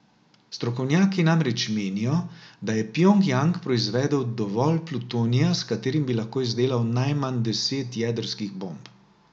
Strokovnjaki namreč menijo, da je Pjongjang proizvedel dovolj plutonija, s katerim bi lahko izdelal najmanj deset jedrskih bomb.